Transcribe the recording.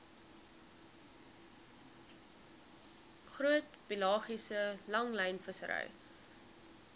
groot pelagiese langlynvissery